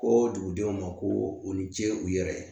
Ko dugudenw ma ko u ni ce u yɛrɛ ye